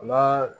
Ma